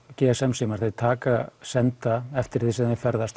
g s m símar þeir taka senda eftir því sem þeir ferðast